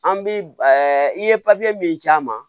An bi i ye min d'a ma